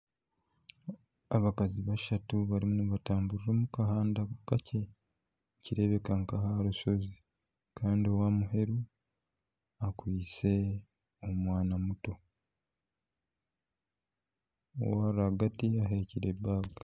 Abakazi bashatu barimu nibatamburira omu kahanda kakye nikireebeka n'aha rushozi kandi ow'aha muheru akwitse omwana muto, owa rwagati ehekire baaga